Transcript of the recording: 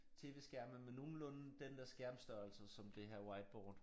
Tv-skærme med nogenlunde den der skærmstørrelse som det her whiteboard